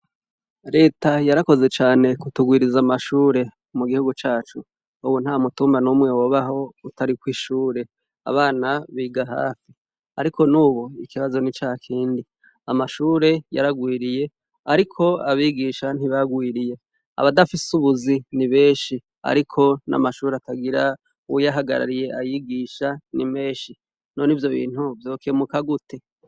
Reta yarakoze cane kutugwiriza amashure mu gihugu cacu ubu nta mutumba n'umwe wobaho utari ku'ishure abana biga hafi ariko nubo ikibazo n'ica kindi amashure yaragwiriye ariko abigisha ntibagwiriye abadafise ubuzi ni beshi ariko n'amashuri atagira uw yahagarariye ayigisha n'i meshi no n'ivyo bintu vyokemuka gute?